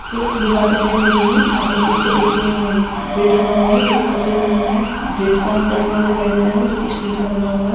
ये एक दीवार दिखाई दे रही है जहाँ पर पीछे एक उम्म गेट लगा हुआ है जोकी सफेद रंग का है गेट का चटकुणा दिखाई दे रहा है जोकी स्टील का बना हुआ है।